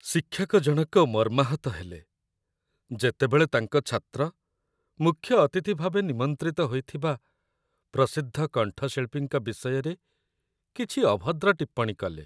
ଶିକ୍ଷକ ଜଣକ ମର୍ମାହତ ହେଲେ, ଯେତେବେଳେ ତାଙ୍କ ଛାତ୍ର ମୁଖ୍ୟ ଅତିଥି ଭାବେ ନିମନ୍ତ୍ରିତ ହୋଇଥିବା ପ୍ରସିଦ୍ଧ କଣ୍ଠଶିଳ୍ପୀଙ୍କ ବିଷୟରେ କିଛି ଅଭଦ୍ର ଟିପ୍ପଣୀ କଲେ।